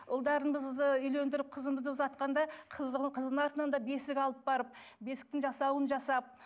ұлдарымызды үйлендіріп қызымызды ұзатқанда қыздың қыздың артынан да бесік алып барып бесіктің жасауын жасап